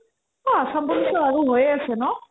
আ অসম police আৰু হৈয়ে আছে ন